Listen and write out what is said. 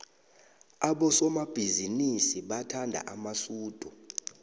abosomabhizinisi bathanda amasudu